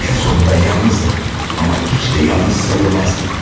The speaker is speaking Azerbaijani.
Ən sonunda yalnızdım, amma heç də yalnız sayılmazdım.